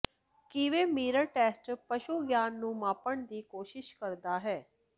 ਕਿਵੇਂ mirror test ਪਸ਼ੂ ਗਿਆਨ ਨੂੰ ਮਾਪਣ ਦੀ ਕੋਸ਼ਿਸ਼ ਕਰਦਾ ਹੈ